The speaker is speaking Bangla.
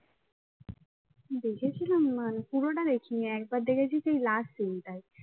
দেখেছিলাম মানে পুরোটা দেখিনি, একবার দেখেছি সেই last scene টাই